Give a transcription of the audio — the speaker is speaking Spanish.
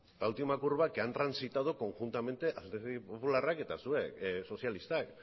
la última curva que han transitado conjuntamente alderdi popularrak eta zuek sozialistak